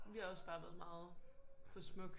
Vi har også bare været meget på Smuk